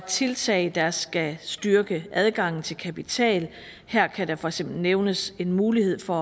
tiltag der skal styrke adgangen til kapital her kan der for eksempel nævnes en mulighed for